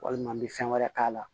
Walima n bɛ fɛn wɛrɛ k'a la